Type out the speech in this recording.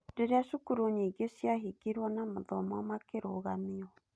Rĩria cukuru nyingĩ ciahingirwo na mathomo makĩrũgamio.